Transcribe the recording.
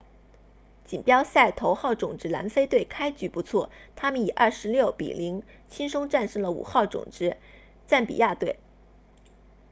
锦标赛头号种子南非队开局不错他们以26 00轻松战胜了5号种子赞比亚队